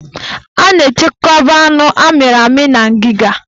A na-echekwaba anụ amịrị amị na ngiga